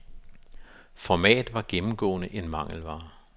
Format var gennemgående en mangelvare.